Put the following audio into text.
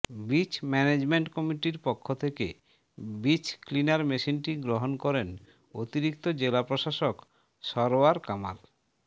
beach management কমিটির পক্ষ থেকে বিচ ক্লিনার মেশিনটি গ্রহণ করেন অতিরিক্ত জেলা প্রশাসক সরওয়ার কামাল